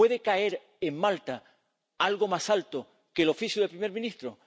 ¿Puede caer en Malta algo más alto que el cargo del primer ministro?